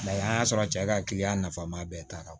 an y'a sɔrɔ cɛ ka kiliyan nafama bɛɛ taara